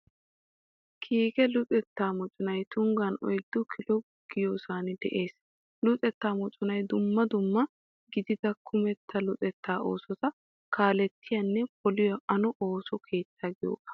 Kiike luxettaa moconay Tunggan oyddu kilo giyoosan de'ees. Luxettaa moconay dumma dumma gidida kumetta luxettaa oosota kaalettiyaanne poliyaa ano ooso keetta giyooga.